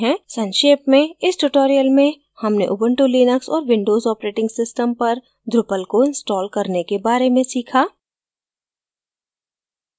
संक्षेप में इस tutorial में हमने उबंटु लिनक्स और windows operating systems पर drupal को इंस्टॉल करने के बारे में सीखा